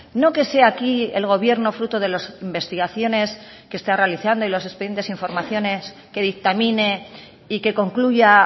no que sea aquí el gobierno fruto de las investigaciones que está realizando y los expedientes e informaciones que dictamine y que concluya